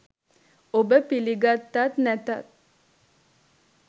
ඔබ පිළිගත්තත් නැතත්